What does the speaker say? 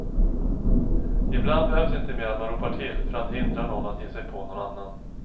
Ibland behövs inte mer än att man ropar till för att hindra någon att ge sig på någon annan.